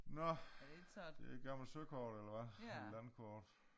Nå det et gammelt søkort eller hvad landkort